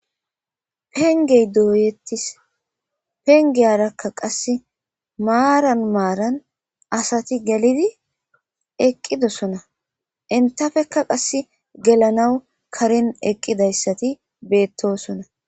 Pengey duuyettis pengeyarakka qasse maaran maaran asati gelidi eqqidosona intafekka qasse gelanawu karen eqqidayssati beettosona.